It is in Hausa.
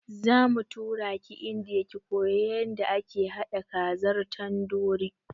Zamu turaki indiya ki koya yanda ake haɗa kazar tandori